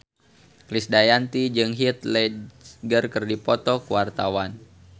Krisdayanti jeung Heath Ledger keur dipoto ku wartawan